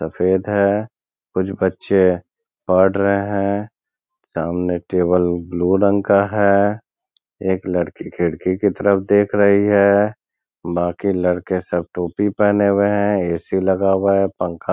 सफेद है। कुछ बच्चे पढ़ रहे है सामने टेबल ब्लू रंग का है एक लड़की खिड़की की तरफ देख रही है बाकि लड़के सब टोपी पहने हुए है ए.सी. लगा हुआ है। पंखा --